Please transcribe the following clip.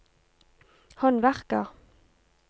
håndverker